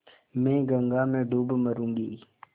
मैं गंगा में डूब मरुँगी